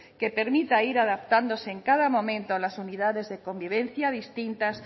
que permita ir adaptándose en cada momento a las unidades de convivencia distintas